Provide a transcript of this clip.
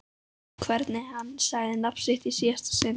Hvernig hann sagði nafnið mitt í síðasta sinn.